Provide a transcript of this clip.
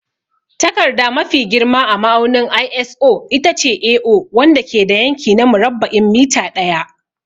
Takarda mafi girma a ma'aunin ISO itace A0, wanda ke da yanki na murabba'in mita ɗaya.